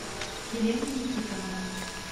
елена никитовна